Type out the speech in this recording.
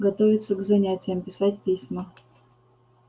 готовиться к занятиям писать письма